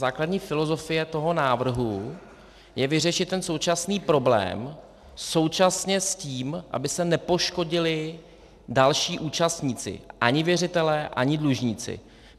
Základní filozofie toho návrhu je vyřešit ten současný problém současně s tím, aby se nepoškodili další účastníci, ani věřitelé, ani dlužníci.